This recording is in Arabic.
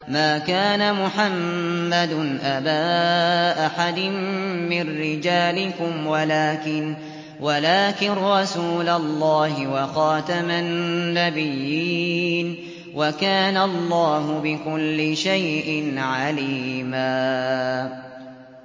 مَّا كَانَ مُحَمَّدٌ أَبَا أَحَدٍ مِّن رِّجَالِكُمْ وَلَٰكِن رَّسُولَ اللَّهِ وَخَاتَمَ النَّبِيِّينَ ۗ وَكَانَ اللَّهُ بِكُلِّ شَيْءٍ عَلِيمًا